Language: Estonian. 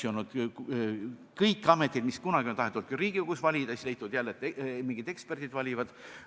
On olnud ametid, mida kunagi on tahetud ka Riigikogus valida, siis on jälle leitud, et mingisugused eksperdid valivad.